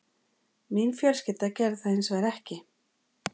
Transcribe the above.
Mín fjölskylda gerði það hins vegar ekki